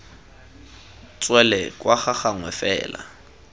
tswele kwa ga gagwe fela